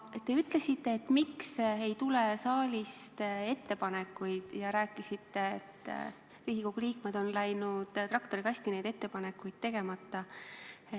Te küsisite, miks ei tule saalist ettepanekuid, ja rääkisite, et Riigikogu liikmed on läinud traktorikasti neid ettepanekuid tegema.